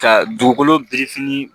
Ka dugukolo birifini